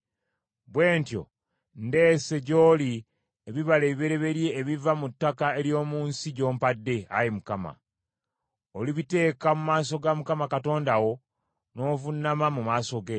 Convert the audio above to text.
Bwe ntyo ndeese gy’oli ebibala ebibereberye ebiva mu ttaka ery’omu nsi gy’ompadde, Ayi Mukama .” Olibiteeka mu maaso ga Mukama Katonda wo n’ovuunama mu maaso ge.